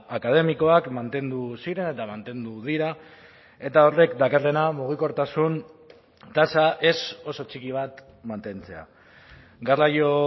akademikoak mantendu ziren eta mantendu dira eta horrek dakarrena mugikortasun tasa ez oso txiki bat mantentzea garraio